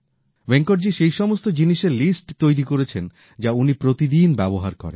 ভেঙ্কটজী সেই সমস্ত জিনিসের লিস্ট তৈরি করেছেন যা উনি প্রতিদিন ব্যবহার করেন